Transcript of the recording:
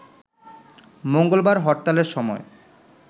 মঙ্গলবার হরতালের সময়